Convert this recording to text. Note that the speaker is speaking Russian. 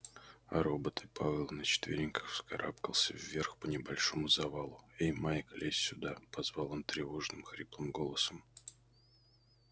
а роботы пауэлл на четвереньках вскарабкался вверх по небольшому завалу эй майк лезь сюда позвал он тревожным хриплым голосом